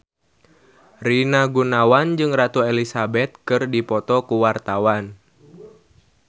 Rina Gunawan jeung Ratu Elizabeth keur dipoto ku wartawan